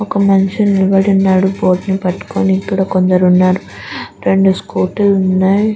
ఒక మనిషి నిలబడి ఉన్నాడు బోర్డు ని పట్టుకుని ఇక్కడ కొందరు ఉన్నారు రెండు స్కూటీ లు ఉన్నాయి.